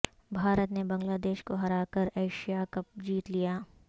بھارت نے بنگلہ دیش کو ہرا کر ایشیا کپ جیت لیا